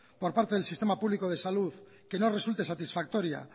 por parte del sistema público de salud que no resulte satisfactoria